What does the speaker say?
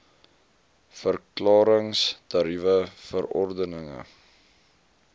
verklarings tariewe verordeninge